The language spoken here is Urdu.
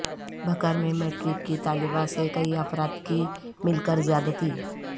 بھکر میں میٹرک کی طالبہ سے کئی افراد کی مل کر زیادتی